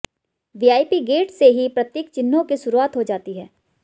VIP gate से ही प्रतीक चिह्नों की शुरुआत हो जाती है